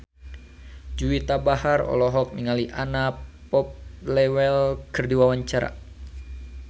Juwita Bahar olohok ningali Anna Popplewell keur diwawancara